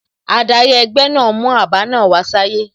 Adari egbe naa mu aba naa wa saye